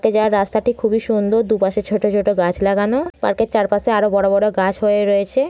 Park এ যাবার রাস্তাটি খুবই সুন্দর দুপাশে ছোট ছোট গাছ লাগানো পার্ক এর চারপাশে আরও বড় বড় গাছ হয়ে রয়েছে।